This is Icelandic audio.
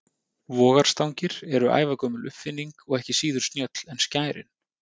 Vogarstangir eru ævagömul uppfinning og ekki síður snjöll en skærin.